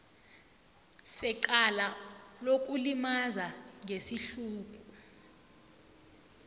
secala lokulimaza ngesihluku